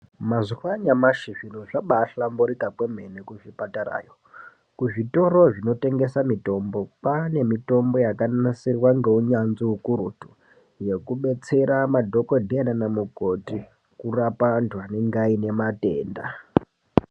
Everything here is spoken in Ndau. Mazuva anyamashi zviro zvabahlamburika kwemene kuzvipatarayo. Kuzvitoro zvinotengesa mitombo kwane mitombo yakanasirwa ngeunyanzvi hukurutu. Yekubetsera madhogodheya nana mukoti kurapa antu anenge aine matenda.